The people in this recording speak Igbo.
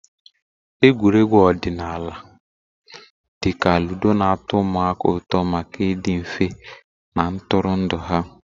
Egwuregwu ọdịnala dị ka ludo na-atọ ụmụaka ụtọ maka ịdị mfe na ntụrụndụ ha.